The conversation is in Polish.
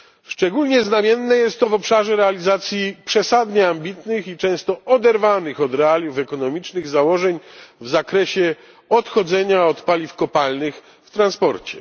Szczególnie znamienne jest to w obszarze realizacji przesadnie ambitnych i często oderwanych od realiów ekonomicznych założeń w zakresie odchodzenia od paliw kopalnych w transporcie.